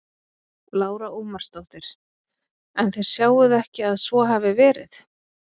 Lára Ómarsdóttir: En þið sjáið ekki að svo hafi verið?